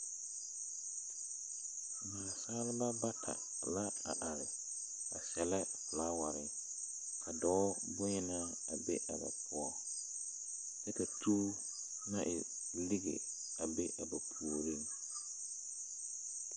Naasaalba bata la a are, ba sɛlɛ la folaware. Ka dɔɔ bonyenaa a be a ba poɔ. Kyɛ ka tuu naŋ e lige a be a ba puoriŋ.